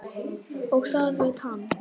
Og það veit hann.